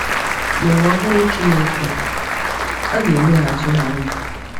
N’ụwa ọhụrụ Chineke, a ga-emeghachi ha ndụ.